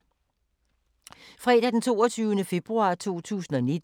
Fredag d. 22. februar 2019